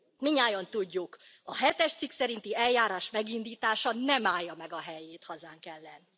Mindnyájan tudjuk, a hetes cikk szerinti eljárás megindítása nem állja meg a helyét hazánk ellen.